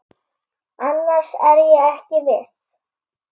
Annars er ég ekki viss.